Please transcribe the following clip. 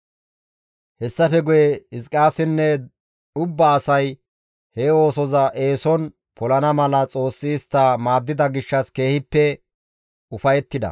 Hessafe guye Hizqiyaasinne ubba asay he oosoza eeson polana mala Xoossi istta maaddida gishshas keehippe ufayettida.